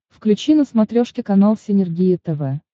включи на смотрешке канал синергия тв